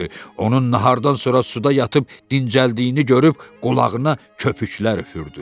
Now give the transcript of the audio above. Onun nahardan sonra suda yatıb dincəldiyini görüb qulağına köpüklər üfürdü.